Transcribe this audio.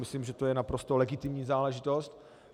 Myslím, že to je naprosto legitimní záležitost.